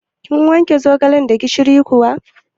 Kin wanke zogalan da gishiri kuwa?